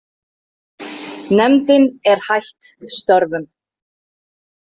Nefndin er hætt störfum.